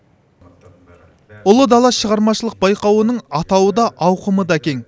ұлы дала шығармашылық байқауының атауы да ауқымы да кең